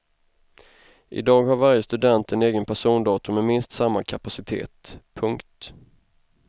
I dag har varje student en egen persondator med minst samma kapacitet. punkt